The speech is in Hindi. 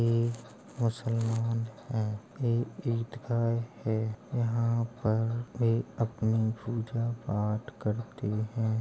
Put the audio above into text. ये मुस्लमान हैं यहाँ पर वे अपनी पूजा-पाठ करते हैं।